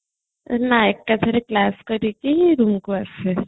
ଏକା ଥରେକେ class ସରିକି roomକୁ ଆସେ